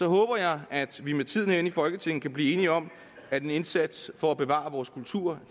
håber jeg at vi med tiden herinde i folketinget kan blive enige om at en indsats for at bevare vores kultur